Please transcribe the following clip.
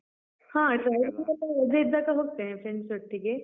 ಹ. traveling ಎಲ್ಲ ರಜೆ ಇದ್ದಾಗ ಹೋಗ್ತೇವೆ, friends ಒಟ್ಟಿಗೆ.